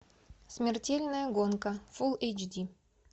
смертельная гонка фул эйч ди